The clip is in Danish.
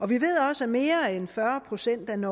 vi ved også at mere end fyrre procent af den